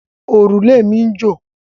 Òrùlé mi ń jò.